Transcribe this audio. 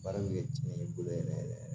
Baara bɛ kɛ diɲɛ bolo yɛrɛ yɛrɛ